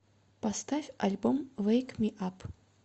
поставь альбом вэйк ми ап